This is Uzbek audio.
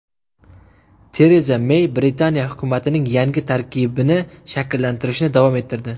Tereza Mey Britaniya hukumatining yangi tarkibini shakllantirishni davom ettirdi.